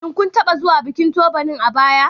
Shin kun taɓa zuwa bikin Turbarning a baya?